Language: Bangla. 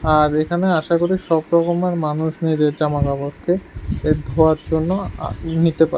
আর এখানে আশা করি সব রকমের মানুষ নিজের জামাকাপড়কে এ ধোয়ার আ জন্য নিতে পারে।